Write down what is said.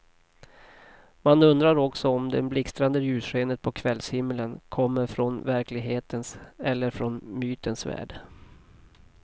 Man undrar också om det blixtrande ljusskenet på kvällshimlen kommer från verklighetens eller från mytens värld.